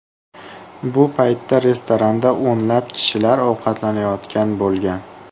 Bu paytda restoranda o‘nlab kishilar ovqatlanayotgan bo‘lgan.